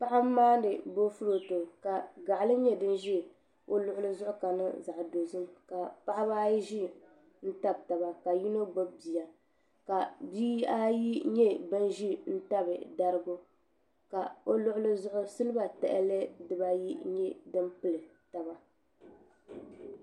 Paɣa n maandi boofurooto ka gaɣali nyɛ din ʒɛ o luɣuli ni ka niŋ zaɣ dozim ka paɣaba ayi ʒi n tabi taba ka yino gbubi bia ka bihi ayi nyɛ bin ʒi tabi darigi ka o luɣuli zuɣu silba tahali dibayi nyɛ din pili taba